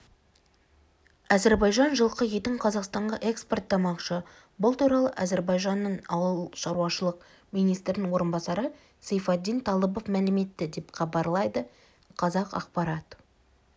әзербайжан жылқы етін қазақстанға экспорттамақшы бұл туралы әзербайжанның ауыл шаруашылық министрінің орынбасары сейфаддин талыбов мәлім етті деп хабарлайды қазақпарат